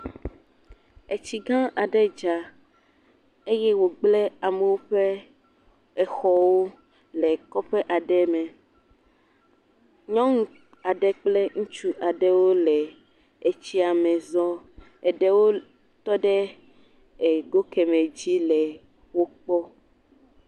Etsigã aɖe dza eye wògblẽ amewo ƒe exɔwo le kɔƒe aɖe me. Nyɔnu aɖe kple ŋutsu aɖe wole etsia me zɔm. Eɖewo tɔ ɖe ego kemɛ dzi le wokpɔm.